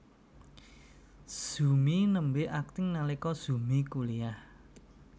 Zumi nembé akting nalika Zumi kuliyah